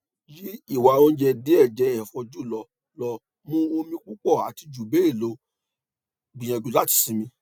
yi iwa ounjẹ diẹ jẹ ẹ̀fọ́ julọ lo mu omi pupọ̀ ati jubẹlọ gbiyanju lati simi